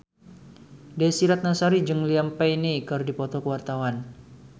Desy Ratnasari jeung Liam Payne keur dipoto ku wartawan